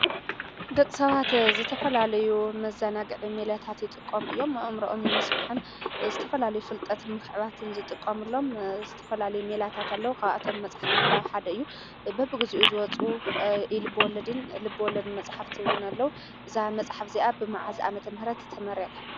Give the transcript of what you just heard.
ደቂ ሰባት ዝተፈላለዩ መዘናግዒ ሜላታት ይጥቀሙ እዮም፡፡ ኣእምርኦም ንምስፋሕን ዝተፈላለዩ ፍልጠት ንምክዕባትን ዝጥቀምሎም ዝተፈላለዩ ሜላታት ኣሎ፡፡ ካብኣቶም መፅሓፍ ምንባብ ሓደ እዩ፡፡ በቢ ግዚኡ ዝወፁ ኢ - ልበወለድን ልበወለድ መፅሓፍትን ኣሎ፡፡ እዛ መፅሓፍ እዚኣ ብመዓዝ ዓመተምህረት ተመሪቃ?